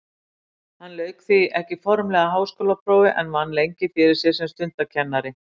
Hann lauk því ekki formlegu háskólaprófi en vann lengi fyrir sér sem stundakennari.